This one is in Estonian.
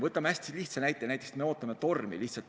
Võtame hästi lihtsa näite: näiteks me ootame tormi.